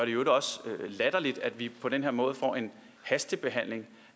i øvrigt også latterligt at vi på den her måde får en hastebehandling